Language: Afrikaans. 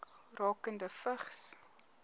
rakende vigs